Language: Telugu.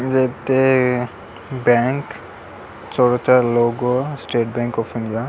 ఇదైతే bank State Bank of India.